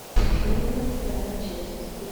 родина вторая часть